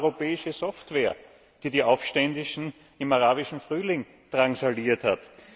Es war europäische Software, die die Aufständischen im Arabischen Frühling drangsaliert hat.